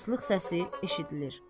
Islıq səsi eşidilir.